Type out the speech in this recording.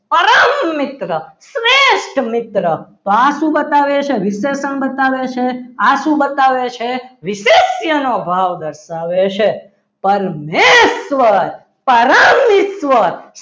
પરમ મિત્ર શ્રેષ્ઠ મિત્ર તો આ શું બતાવે છે વિશેષણ બતાવે છે આ શું બતાવે છે વિશેનો ભાવ દર્શાવે છે પણ મેશ્વા પરમેશ્વર